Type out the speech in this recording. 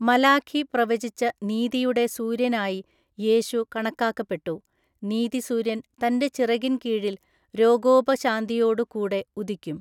മലാഖി പ്രവചിച്ച നീതിയുടെ സൂര്യൻ ആയി യേശു കണക്കാക്കപ്പെട്ടു, നീതിസൂര്യൻ തന്റെ ചിറകിൻ കീഴിൽ രോഗോപശാന്തിയോടു കൂടെ ഉദിക്കും.